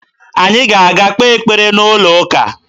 Anyị ga-aga kpee ekpere n'ụlọụka